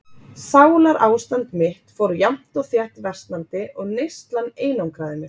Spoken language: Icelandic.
Sálarástand mitt fór jafnt og þétt versnandi og neyslan einangraði mig.